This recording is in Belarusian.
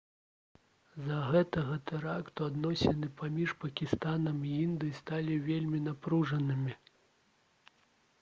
з-за гэтага тэракту адносіны паміж пакістанам і індыяй сталі вельмі напружанымі